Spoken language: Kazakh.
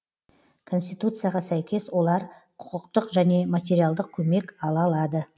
конституцияға сәйкес олар құқықтық және материалдық көмек ала алады